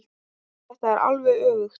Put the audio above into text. Þetta er alveg öfugt.